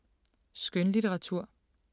Skønlitteratur